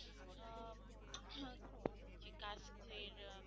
যে রকম